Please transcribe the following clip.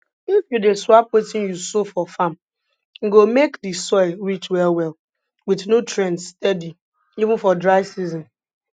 if you dey swap wetin you sow for farm e go make di soil rich well well with nutrients steady even for dry season